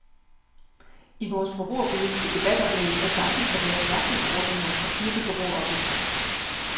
I vores forbrugerpolitiske debatoplæg er tanken at lave mærkningsordninger og styrke forbrugeroplysningen.